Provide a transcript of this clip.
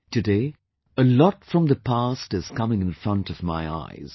Today, a lot from the past is coming in front of my eyes